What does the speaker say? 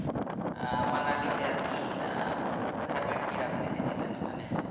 আহ মানালিতে আপনি আহ food habits কি রকম দেখেছিলেন ওখানে